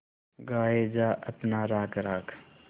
गाये जा अपना राग राग